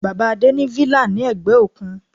Bàbá Adé ní villa ní ẹ̀gbẹ́ òkun.